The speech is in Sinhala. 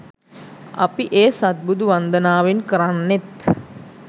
අපි ඒ සත්බුදු වන්දනාවෙන් කරන්නෙත්